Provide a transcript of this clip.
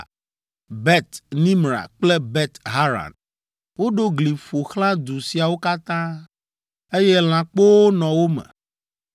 Bet Nimra kple Bet Haran. Woɖo gli ƒo xlã du siawo katã, eye lãkpowo nɔ wo me.